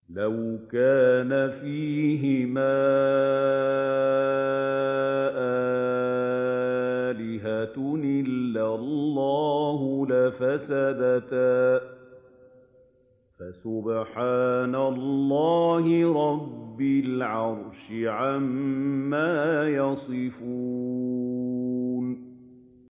لَوْ كَانَ فِيهِمَا آلِهَةٌ إِلَّا اللَّهُ لَفَسَدَتَا ۚ فَسُبْحَانَ اللَّهِ رَبِّ الْعَرْشِ عَمَّا يَصِفُونَ